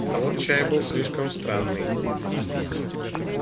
а вот чай был слишком странный